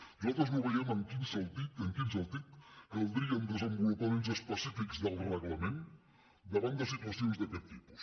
nosaltres no veiem en quin sentit caldrien desenvolupaments específics del reglament davant de situacions d’aquest tipus